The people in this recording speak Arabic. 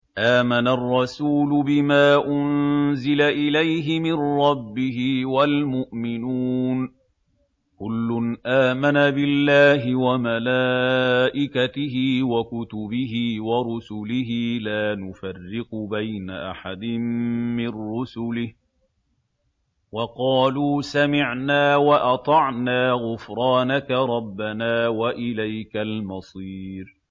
آمَنَ الرَّسُولُ بِمَا أُنزِلَ إِلَيْهِ مِن رَّبِّهِ وَالْمُؤْمِنُونَ ۚ كُلٌّ آمَنَ بِاللَّهِ وَمَلَائِكَتِهِ وَكُتُبِهِ وَرُسُلِهِ لَا نُفَرِّقُ بَيْنَ أَحَدٍ مِّن رُّسُلِهِ ۚ وَقَالُوا سَمِعْنَا وَأَطَعْنَا ۖ غُفْرَانَكَ رَبَّنَا وَإِلَيْكَ الْمَصِيرُ